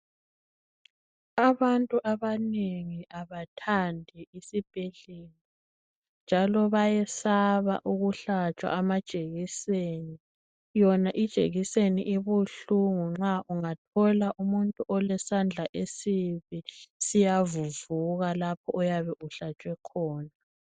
Abantu abanengi abathandi isibhedlela njalo bayesaba ukuhlatshwa amajekiseni yona ijekiseni ibuhlungu nxa ungathola umuntu olesandla esibi siyavuvuka lapho oyabe uhlatshwe khona.